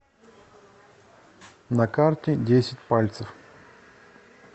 на карте десять пальцев